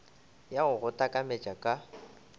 ya go go takametša ka